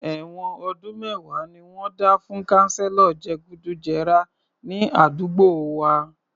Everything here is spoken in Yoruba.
Èwọ̀n ọdún mẹ́wàá ni wọ́n dá fún kanselo je gùdù jẹrà ní àdúgbò wa